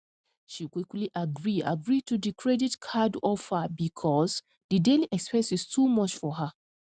she quickly agree agree to di credit card offer because di daily expenses too much for her